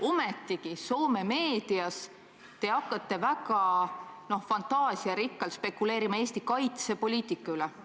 Ometigi, Soome meedias hakkate te väga fantaasiarikkalt spekuleerima Eesti kaitsepoliitika üle.